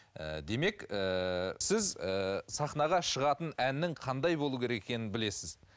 ііі демек ііі сіз ііі сахнаға шығатын әннің қандай болу керек екенін білесіз